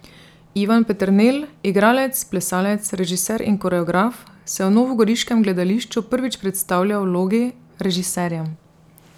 Ivan Peternelj, igralec, plesalec, režiser in koreograf, se v novogoriškem gledališču prvič predstavlja v vlogi režiserja.